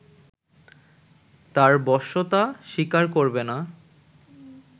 তাঁর বশ্যতা স্বীকার করবে না